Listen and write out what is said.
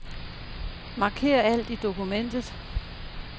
Marker alt i dokumentet.